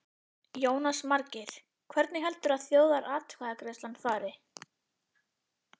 Jónas Margeir: Hvernig heldurðu að þjóðaratkvæðagreiðslan fari?